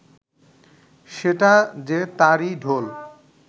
সেটা যে তারই ঢোল